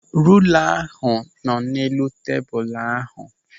Rula ahụ nọ n'elu tebụl ahụ.